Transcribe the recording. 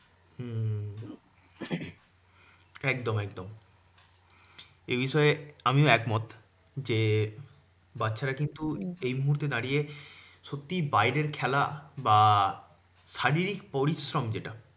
একদম একদম এ বিষয়ে আমিও একমত। যে বাচ্চারা কিন্তু এই মুহূর্তে দাঁড়িয়ে সত্যি বাইরের খেলা বা শারীরিক পরিশ্রম যেটা